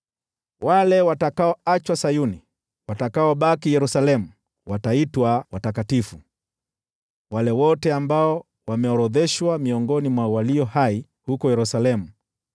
Wale watakaoachwa Sayuni, watakaobaki Yerusalemu, wataitwa watakatifu, wale wote ambao wameorodheshwa miongoni mwa walio hai huko Yerusalemu.